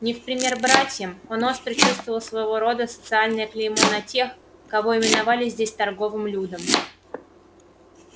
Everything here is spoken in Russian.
не в пример братьям он остро чувствовал своего рода социальное клеймо на тех кого именовали здесь торговым людом